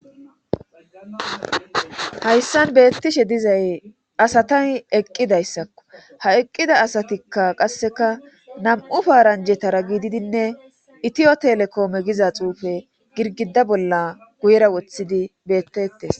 hayssan beettishe dizay asatan eqqidayssakko ha eqqida asatikka qasseka nam'u paaranjetara giididinne itiyo telekoome giza xuufe girgida bolla guyera wothidi beettettes